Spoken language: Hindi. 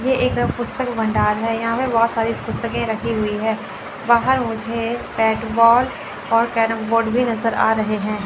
ये एक पुस्तक भंडार है यहां पे बहोत सारी पुस्तके रखी हुई है बाहर मुझे बैट बॉल और कैरमबोर्ड भी नजर आ रहे हैं।